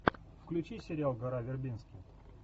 включи сериал гора вербински